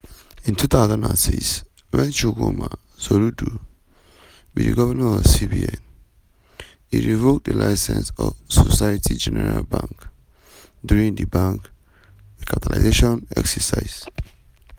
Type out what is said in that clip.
in 2006 wen chukwuma soludo be di govnor of cbn e revoke di licence of societe generale bank during di bank re-capitalisation exercise.